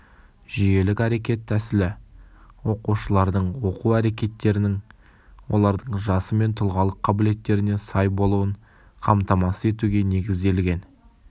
жүйелік-әрекет тәсілі оқушылардың оқу әрекеттерінің олардың жасы мен тұлғалық қабілеттеріне сай болуын қамтамасыз етуге негізделген